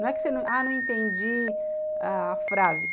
Não é que você, ah, não entendi a frase.